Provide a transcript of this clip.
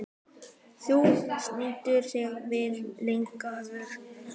Þú stendur þig vel, Ingileifur!